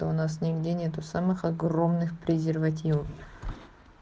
а у нас нигде нету самых огромных презервативов